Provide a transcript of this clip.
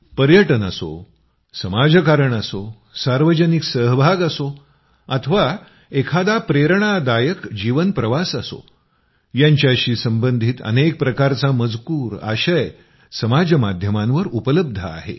पर्यटन असो समाजकारण असो सार्वजनिक सहभाग असो अथवा एखादा प्रेरणादायक जीवन प्रवास असो यांच्याशी संबंधित अनेक प्रकारचा मजकूर आशय समाज माध्यमांवर उपलब्ध आहे